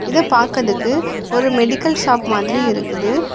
இத பாக்கறதுக்கு ஒரு மெடிக்கல் ஷாப் மாதிரி இருக்குது.